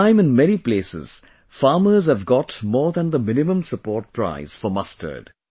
This time in many places farmers have got more than the minimum support price MSP for mustard